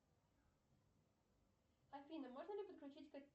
афина можно ли подключить